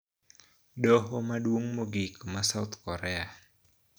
Doho Maduong' Mogik ma South Korea